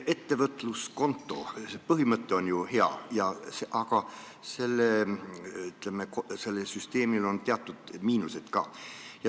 Ettevõtluskonto põhimõte on ju hea, aga sellel süsteemil on teatud miinused ka.